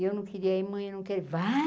E eu não queria ir, mãe, eu não quero ir.